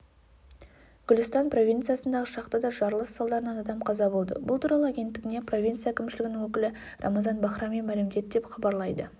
гүлістан провинциясындағы шахтада жарылыс салдарынан адам қаза болды бұл туралы агенттігіне провинция әкімшілігінің өкілі рамазан бахрами мәлімдеді деп хабарлайды